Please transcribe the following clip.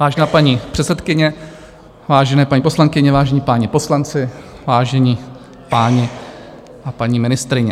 Vážená paní předsedkyně, vážené paní poslankyně, vážení páni poslanci, vážení páni a paní ministryně.